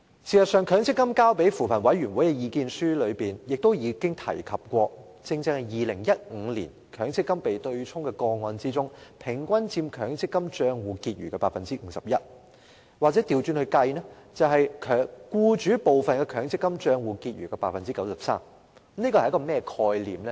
事實上，強制性公積金計劃管理局向扶貧委員會提交的意見書亦提及，在2015年強積金被對沖的個案中，抵銷款額平均佔強積金戶口結餘的 51%， 又或是佔僱主部分的強積金戶口結餘的 93%。